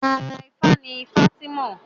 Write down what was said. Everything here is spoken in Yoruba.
Àrà ifá ní fátìmọ